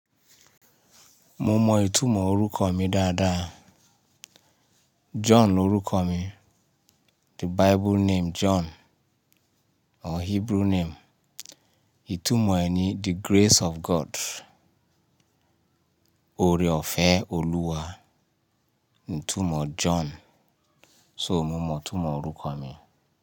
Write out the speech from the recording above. Mo mọ ìtumọ̀ orúkọ mi dáadáa. John ni orúkọ mi. The Bible name John or Hebrew name. Ìtumọ̀ ẹ̀ ni the grace of God. Ore ọ̀fẹ́ Oluwa. Ìtumọ̀ John. So mo mọ ìtumọ̀ orúkọ mi.